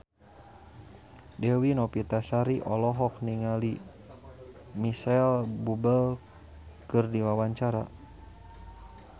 Dewi Novitasari olohok ningali Micheal Bubble keur diwawancara